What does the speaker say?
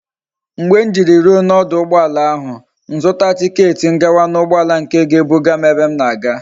Mgbe m jiri ruo na oduugboala ahu m zuta ticket m gawa na ugboala nke ga e buga m ebe m na aga